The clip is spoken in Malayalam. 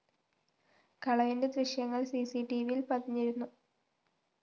കളവിന്റെ ദൃശ്യങ്ങള്‍ സിസിടിവിയില്‍ പതിഞ്ഞിരുന്നു